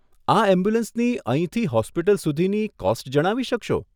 આ એમ્બ્યુલન્સની અહીંથી હોસ્પિટલ સુધીની કોસ્ટ જણાવી શકશો?